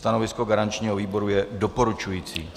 Stanovisko garančního výboru je doporučující.